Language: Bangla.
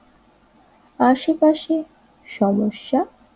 আশেপাশে সমস্যা